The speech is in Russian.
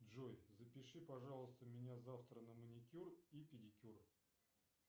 джой запиши пожалуйста меня завтра на маникюр и педикюр